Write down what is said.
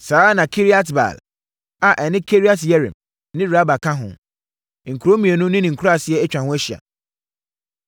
Saa ara na Kiriat-Baal (a ɛne Kiriat-Yearim) ne Raba ka ho, nkuro mmienu ne ne nkuraaseɛ atwa ho ahyia.